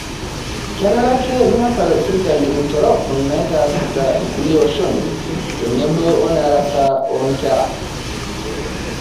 Kenare ake nepal sirkali intorok naitaasita kulie oshon tenebo oenarata onkera